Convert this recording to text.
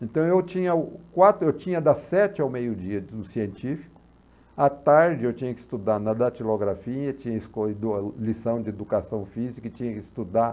Então, eu tinhao quatro, eu tinha das sete ao meio-dia no científico, à tarde eu tinha que estudar na datilografia, tinha lição de educação física e tinha que estudar.